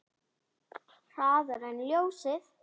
Hraðar en ljósið.